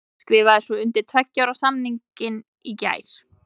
Hann skrifaði svo undir tveggja ára samningin í gær.